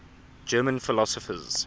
german philosophers